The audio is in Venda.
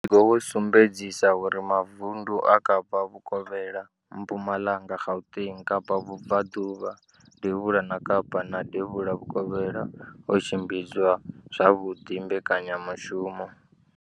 Muvhigo wo sumbedzisa uri mavundu a Kapa Vhukovhela, Mpumalanga, Gauteng, Kapa Vhubvaḓuvha, Devhula ha Kapa na Devhula Vhukovhela o tshimbidza zwavhuḓi mbekanyamushumo.